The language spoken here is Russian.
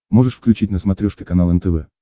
можешь включить на смотрешке канал нтв